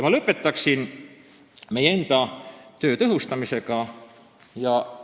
Ma lõpetan meie enda töö tõhustamise vajaduse teemaga.